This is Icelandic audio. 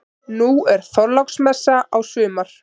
Nú er Þorláksmessa á sumar.